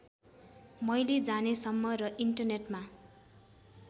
मैले जानेसम्म र इन्टरनेटमा